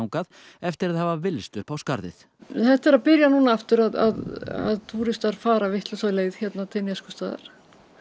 eftir að hafa villst upp á skarðið þetta er að byrja núna aftur að túristar fara vitlausa leið til Neskaupstaðar